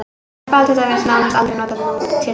Telpa er til dæmis nánast aldrei notað nútildags.